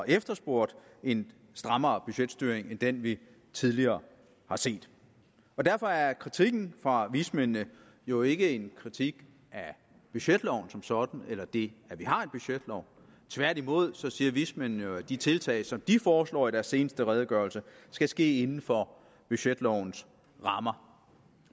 efterspurgt en strammere budgetstyring end den vi tidligere har set og derfor er kritikken fra vismændene jo ikke en kritik af budgetloven som sådan eller det at vi har en budgetlov tværtimod siger vismændene jo at de tiltag som de foreslår i deres seneste redegørelse skal ske inden for budgetlovens rammer